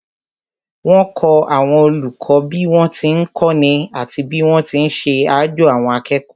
Wọ́n kọ́ àwọn olùkọ́ bí wọ́n ti ń kọ́ni àti bí wọ́n ti ń ṣe àjo àwọn akẹ́kọ̀ọ́